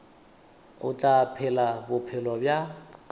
o tla phela bophelo bja